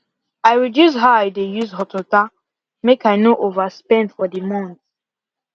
i reduce how i dey use hot water make i no over spend for the month